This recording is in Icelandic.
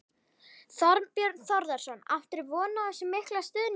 Þorbjörn Þórðarson: Áttirðu von á þessum mikla stuðningi?